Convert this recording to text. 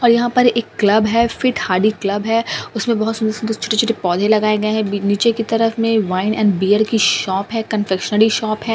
और यहां पर एक क्लब है फिट हाडी क्लब है उसमें बहुत सुंदर सुंदर छोटे-छोटे पौधे लगाए गए हैं नीचे की तरफ में वाइन एंड बियर की शॉप है कंफेक्शनरी शॉप है।